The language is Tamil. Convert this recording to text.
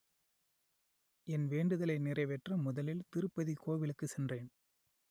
என் வேண்டுதலை நிறைவேற்ற முதலில் திருப்பதி கோவிலுக்கு சென்றேன்